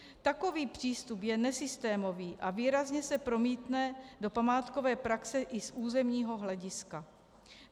Takový přístup je nesystémový a výrazně se promítne do památkové praxe i z územního hlediska.